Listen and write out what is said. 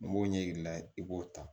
N b'o ɲɛ yira i b'o ta